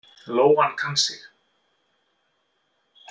Lóan kann sig.